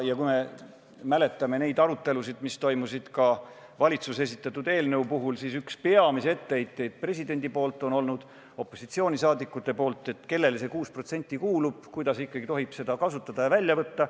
Kui meenutame neid arutelusid, mis toimusid valitsuse esitatud eelnõu puhul, siis üks peamisi etteheiteid presidendilt, opositsiooni liikmetelt on olnud see, et kellele see 6% kuulub, kuidas ikkagi tohib seda kasutada ja välja võtta.